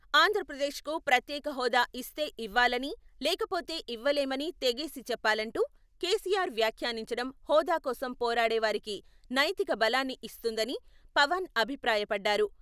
ఆంధ్రప్రదేశ్ కు ప్రత్యేక హోదా ఇస్తే ఇవ్వాలని లేకపోతే ఇవ్వలేమని తెగేసి చెప్పాలంటూ కేసీఆర్ వ్యాఖ్యానించడం హోదా కోసం పోరాడే వారికి నైతిక బలాన్ని ఇస్తుందని పవన్ అభిప్రాయపడ్డారు.